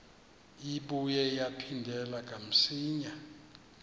ibuye yaphindela kamsinya